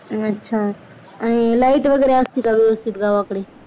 अच्छा आणि light वगैरे असते का व्यवस्थित गावाकडे